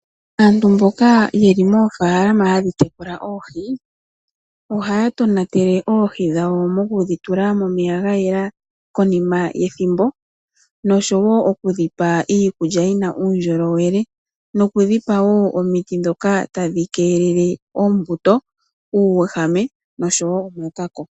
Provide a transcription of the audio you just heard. Aantu mboka yeli moofaalama hadhi tekula oohi, ohaa tonatele oohi dhawo mokudhi tula momeya gayela konima yethimbo, noshowo oku dhipa iikulya yina uundjolowele, noku dhipa wo omiti dhoka tadhi keelele oombuto, uuwehame noshowo omakako.